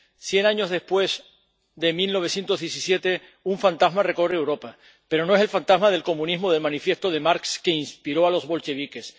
cien años después de 1917, un fantasma recorre Europa, pero no es el fantasma del comunismo del de Marx que inspiró a los bolcheviques.